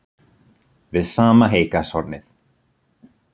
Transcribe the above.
Við sama heygarðshornið